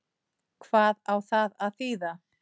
Hvað á það að þýða?